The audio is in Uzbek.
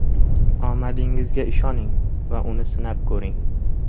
Omadingizga ishoning va uni sinab ko‘ring!